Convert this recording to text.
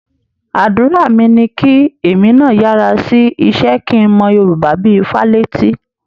Àdúrà mi ni kí èmi náà yára sí iṣẹ́ kí n mọ Yorùbá bí i Fálétí